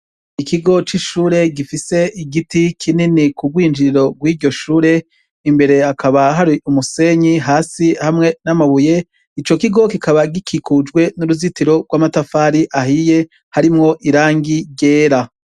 Ikigo c'ishure gifise igiti kinini k'ubwinjiriro bwiryoshure imbere hakaba hari umusenyi hasi hamwe namabuye, icokigo kikaba gikikujwe n'uruzitiro gwamatafari ahiye harimwo irangi ryera.